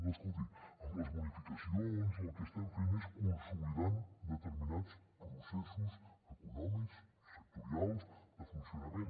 no escolti amb les bonificacions el que estem fent és consolidar determinats processos econòmics sectorials de funcionament